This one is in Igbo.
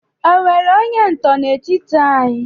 O nwere onye ntọ nọ n'etiti anyị?